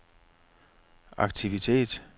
aktivitet